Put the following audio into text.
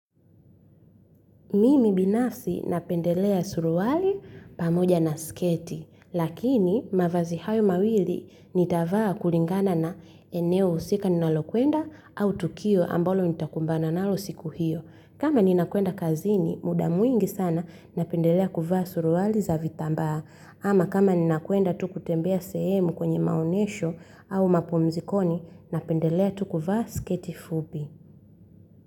Mimi binafsi napendelea suruali pamoja na sketi, lakini mavazi hayo mawili nitavaa kulingana na eneo husika ninalo kwenda au tukio ambalo nitakumbana nalo siku hiyo. Kama ninakwenda kazini, mudamwingi sana napendelea kuvaa suruali za vitambaa. Ama kama ninakwenda tukutembea sehemu kwenye maonyesho au mapumzikoni, napendelea tukuvaa sketi fupi.